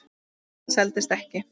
Varan seldist ekki.